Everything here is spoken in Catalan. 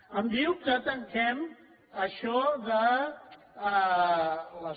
em diu que tanquem això de les